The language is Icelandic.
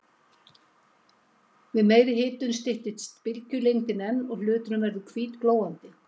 Við meiri hitun styttist bylgjulengdin enn og hluturinn verður hvítglóandi.